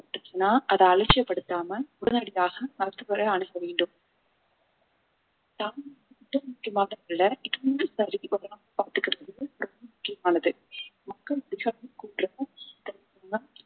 அதை அலட்சியப்படுத்தாம உடனடியாக மருத்துவரை வேண்டும் பாத்துக்கிறது ரொம்ப முக்கியமானது மக்கள்